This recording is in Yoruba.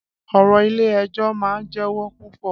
Ọ̀rọ̀ Ilé-ẹjọ́ máa ń jẹwó púpọ̀.